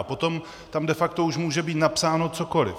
A potom tam de facto už může být napsáno cokoliv.